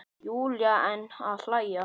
Júlía enn að hlæja.